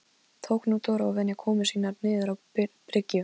Tók nú Dór að venja komur sínar niður á bryggju.